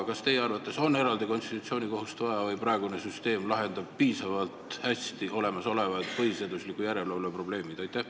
Kas teie arvates on eraldi konstitutsioonikohut vaja või lahendab praegune süsteem piisavalt hästi põhiseaduslikkuse järelevalve probleemid?